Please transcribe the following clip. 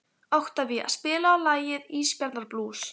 Oktavía, spilaðu lagið „Ísbjarnarblús“.